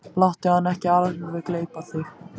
Láttu hann ekki gleypa þig alveg!